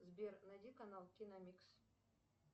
сбер найди канал киномикс